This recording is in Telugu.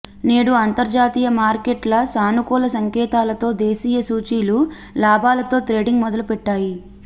నేడు అంతర్జాతీయ మార్కెట్ల సానుకూల సంకేతాలతో దేశీయ సూచీలు లాభాలతో ట్రేడింగ్ మొదలుపెట్టాయి